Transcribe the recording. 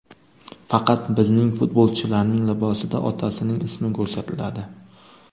Faqat bizning futbolchilarning libosida otasining ismi ko‘rsatiladi” .